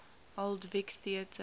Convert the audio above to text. old vic theatre